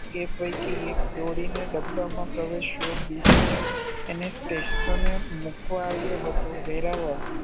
એ પૈકી એક દોડીને ડબ્બામાં પ્રવેશ્યો બીજોએ એને સ્ટેશને મુકવા આવ્યો હતો. વેરાવળ